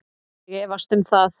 Ég efst um það